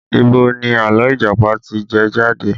Ibo ni àlọ́ Ìjàpá ti jẹ jáde?